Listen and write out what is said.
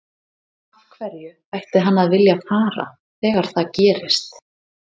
Af hverju ætti hann að vilja fara þegar það gerist?